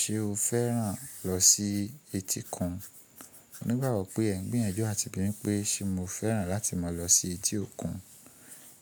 Ṣé o fẹ́ràn lọ sí etí kan? Nígbà gbo pé ẹ̀ ń gbìyànjú àti bí mi pé ṣe mo fẹ́ràn láti máa lọ sí etí òkun.